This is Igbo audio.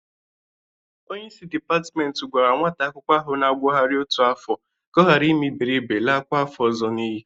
Onyeisi dịpatmenti gwara nwata akwụkwọ ahụ na-agụgharị otu afọ ka ọ ghara ime iberibe lakwa afọ ọzọ n'iyi.